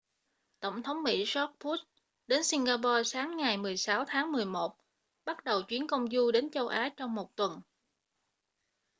tổng thống mỹ george w bush đến singapore sáng ngày 16 tháng 11 bắt đầu chuyến công du đến châu á trong một tuần